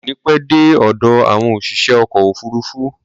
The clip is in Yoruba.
Wọn ò ní pẹ́ dé ọ̀dọ̀ àwọn òṣìṣẹ́ ọkọ̀ òfuruufú.